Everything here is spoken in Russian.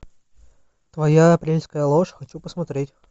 твоя апрельская ложь хочу посмотреть